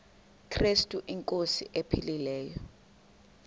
krestu inkosi ephilileyo